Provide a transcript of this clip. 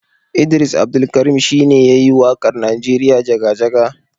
Idris Abdulkarin shine yayi waƙar Nigeria Jaga-jaga.